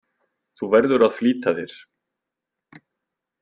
Þú verður að flýta þér.